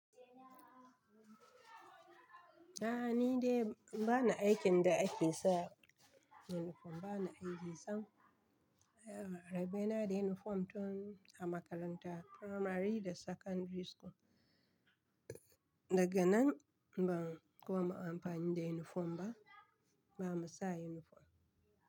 A'a ni dai bana aikin da ake sa uniform, bana aikin sam. Rabe na da uniform tun a makaranta primary da secondary school. Daga nan ban kuma amfani da uniform ba, ba mu sa uniform.